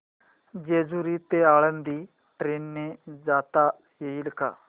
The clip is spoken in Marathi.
जेजूरी ते आळंदी ट्रेन ने जाता येईल का